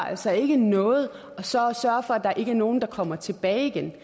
altså ikke noget så at sørge for at der ikke er nogen der kommer tilbage igen